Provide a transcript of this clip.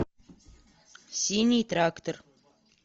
синий трактор